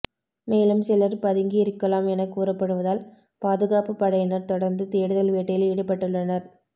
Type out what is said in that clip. மேலும் சிலர் பதுங்கியிருக்கலாம் என கூறப்படுவதால் பாதுகாப்பு படையினர் தொடர்ந்து தேடுதல் வேட்டையில் ஈடுபட்டுள்ளனர்